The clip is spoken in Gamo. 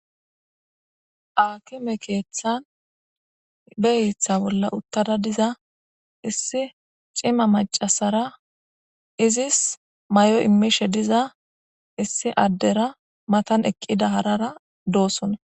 akime keethan beyitha bolla uttada diza issi cima macasara izis may7o immishe diza issi addera matan eqqida harara doossona